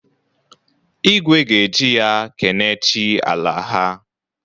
Igwe ga-eji ya kene chi ala ha.